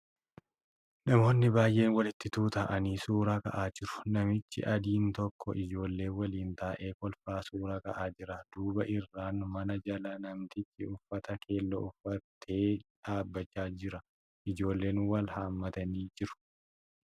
Namoonni baay'een walitti tuuta'anii suura ka'aa jiru. Namichi adiin tokko ijoollee waliin taa'ee kolfaa suura ka'aa jira. Duuba irraan mana jala namtichi uffata keelloo uffatee dhaabbachaa jira. Ijoolleen wal haammatanii jiru.